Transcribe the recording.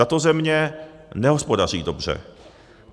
Tato země nehospodaří dobře.